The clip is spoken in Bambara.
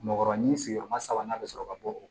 Mɔkɔrɔni sigiyɔrɔma sabanan bɛ sɔrɔ ka bɔ o